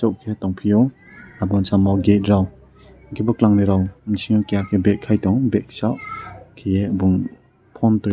pok ke tongpiyo aboni samo gate rok hingke bokelangni rok bisingo keha bag kaitong bagso kiye bong phone tui.